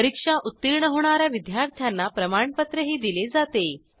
परीक्षा उत्तीर्ण होणा या विद्यार्थ्यांना प्रमाणपत्रही दिले जाते